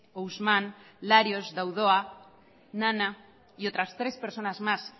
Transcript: ousman larios daouda nana y otras tres personas más